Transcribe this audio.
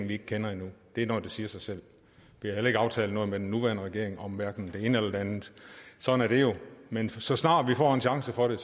vi ikke kender endnu det er noget der siger sig selv vi har heller ikke aftalt noget med den nuværende regering om hverken det ene eller det andet sådan er det jo men så snart vi får en chance for det